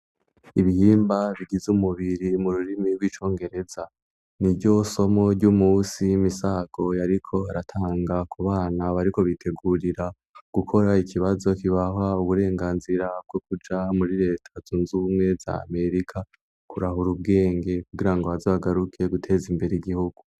Ibihimba bigize umubiri mu rurimi rw'icongereza ni ryo somo ry'umusi y'imisagoyariko aratanga ku bana bariko bitegurira gukora ikibazo kibaha uburenganzira bwo kuja muri leta zunzumwe za amerika kurahura ubwenge kugira ngo bazagaruke guteza imbere giho.